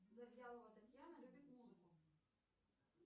завьялова татьяна любит музыку